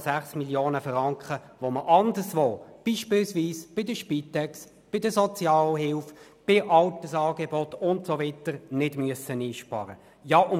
Dies sind 6,6 Mio. Franken, die wir anderswo, beispielsweise bei der Spitex, bei der Sozialhilfe, bei Altersangeboten und so weiter nicht einsparen müssen.